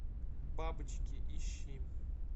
бабочки ищи